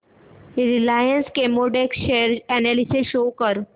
Reliance Chemotex share analysis show कर